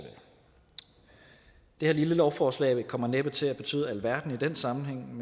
det her lille lovforslag kommer næppe til at betyde alverden i den sammenhæng